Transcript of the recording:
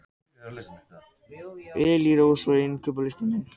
Elírós, hvað er á innkaupalistanum mínum?